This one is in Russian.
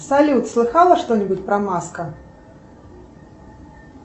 салют слыхала что нибудь про маска